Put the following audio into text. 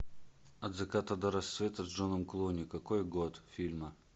от заката до рассвета с джоном клуни какой год фильма